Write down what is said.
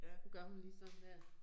Så gør hun lige sådan der